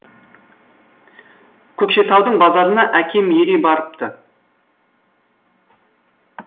көкшетаудың базарына әкем ере барыпты